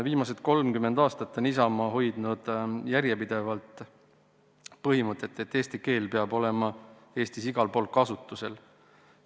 Viimased 30 aastat on Isamaa hoidnud järjepidevalt põhimõtet, et eesti keel peab olema Eestis igal pool kasutusel.